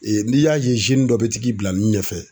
Ee n'i y'a ye dɔ be t'i bila nun ɲɛ fɛ.